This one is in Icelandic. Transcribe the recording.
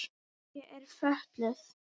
Ég er fötluð.